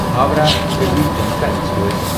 Howrah Delhi Janta express